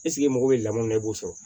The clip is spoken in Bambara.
e mago bɛ lamɔ min na i b'o sɔrɔ